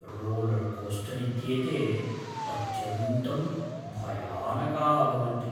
Roller coaster इत्येते अत्यन्तं भयानकाः भवन्ति।